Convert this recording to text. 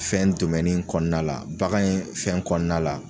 Fɛn domɛni in kɔnɔna la bagan in fɛn kɔnɔna la